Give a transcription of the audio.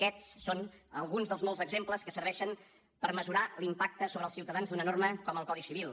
aquests són alguns dels molts exemples que serveixen per mesurar l’impacte sobre els ciutadans d’una norma com el codi civil